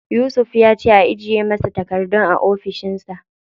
Yusuf ya ce a ajiye masa takardun a ofishin sa.